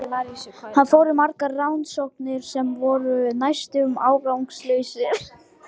Hann fór í margar rannsóknir sem voru næstum árangurslausar.